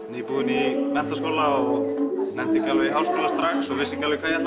nýbúinn í menntaskóla og nennti ekki alveg í háskóla strax og vissi ekki alveg hvað ég